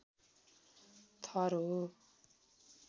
थर हो।